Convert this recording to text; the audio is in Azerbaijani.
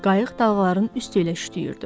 Qayıq dalğaların üstü ilə üşüyürdü.